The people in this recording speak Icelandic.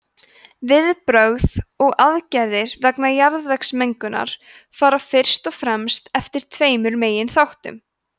viðbrögð og aðgerðir vegna jarðvegsmengunar fara fyrst og fremst eftir tveimur meginþáttum